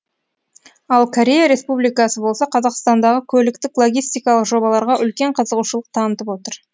ал корея республикасы болса қазақстандағы көліктік логистикалық жобаларға үлкен қызығушылық танытып отыр